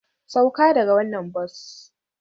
Sauka daga wannan bas!